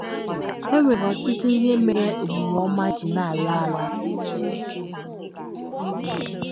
E nwere ọtụtụ ihe mere omume ọma ji na - ala ala. ala.